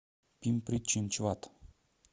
пимпри чинчвад